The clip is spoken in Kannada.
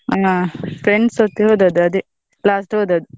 ಹಾ friends ಒಟ್ಟಿಗೆ ಹೋದದ್ದು ಅದೇ, last ಹೋದದ್ದು.